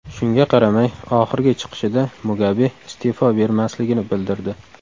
Shunga qaramay, oxirgi chiqishida Mugabe iste’fo bermasligini bildirdi .